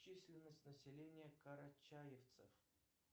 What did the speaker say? численность населения карачаевцев